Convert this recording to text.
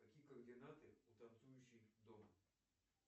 какие координаты у танцующей дома